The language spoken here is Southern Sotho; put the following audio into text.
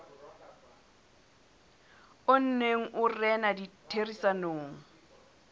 o neng o rena ditherisanong